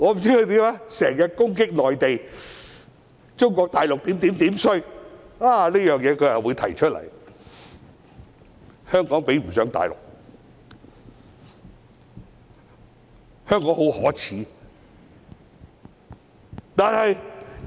他經常攻擊內地，說中國大陸如何差，但他卻說出這情況，指香港比不上大陸，香港很可耻。